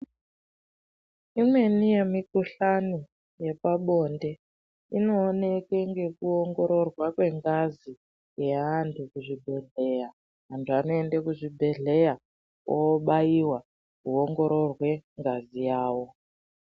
Imweni yemikuhlani yepabonde inoonekwe ngekuongororwa kwengazi neantu kuzvibhedhleya, antu anoende kuzvibhedhleya obaiwa oongorirwe ngazi yawo.